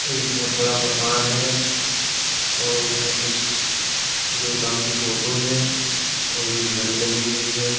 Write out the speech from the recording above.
एक बहुत बड़ा मकान है और उसमें कुछ देवताओं की फोटो है और एक घड़ी लगी हुई है।